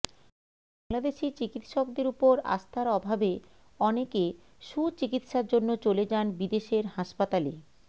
বাংলাদেশি চিকিৎসকদের ওপর আস্থার অভাবে অনেকে সুচিকিৎসার জন্য চলে যান বিদেশের হাসপাতালে